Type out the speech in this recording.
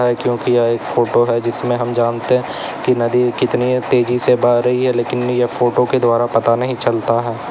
क्योंकि यह एक फोटो है जिसमे हम जानते हैं कि नदी कितनी तेजी से बह रही हैं लेकिन यह फोटो के द्वारा पता नहीं चलता है।